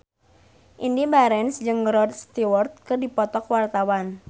Indy Barens jeung Rod Stewart keur dipoto ku wartawan